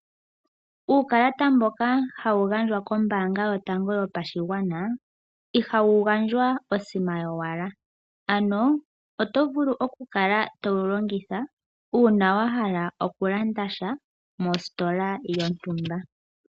Uukalata mboka hawu gandjwa kombanga yotango yopashigwana ihawu gandjwa osima yowala. Ano oto vulu okukala towu longitha, uuna wa hala okulanda sha mositola yontumba.